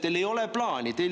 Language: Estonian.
Teil ei ole plaani!